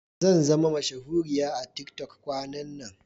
Zanzama mashahuriya a tiktok kwanan nan.